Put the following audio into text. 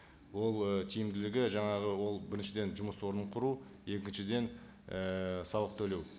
бұл ы тиімділігі жаңағы ол біріншіден жұмыс орнын құру екіншіден ііі салық төлеу